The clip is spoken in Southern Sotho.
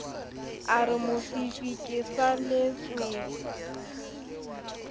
a re mofifi ke saletswe